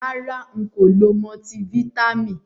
Rara, nko lo multiFítàmì.